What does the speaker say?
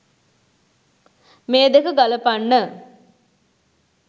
මේ දෙක ගලපන්න